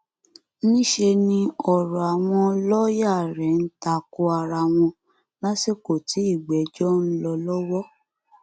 níṣẹ ni ọrọ àwọn lọọyà rẹ ń ta ko ara wọn lásìkò tí ìgbẹjọ ń lọ lọwọ